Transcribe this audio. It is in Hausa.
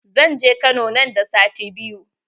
Zan je kano nan da sati biyu